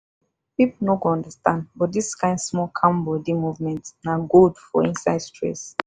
people no dey too understand but this kind small calm body movement na gold for inside stress.